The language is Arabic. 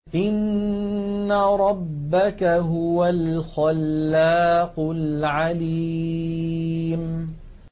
إِنَّ رَبَّكَ هُوَ الْخَلَّاقُ الْعَلِيمُ